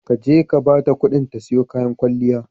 Ka je ka bata ƙuɗin ta siyo kayan kwalliya.